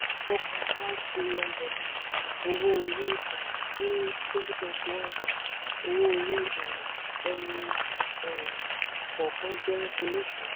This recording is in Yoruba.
four point nine trillion dollar owó orí um ní twenty twenty one owó orí um ẹni um kọ̀ọ̀kan jẹ́ orísun.